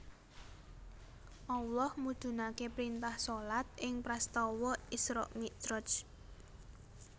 Allah mudhunake printah shalat ing prastawa Isra Miraj